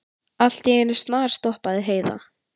Allt í einu snarstoppaði Heiða.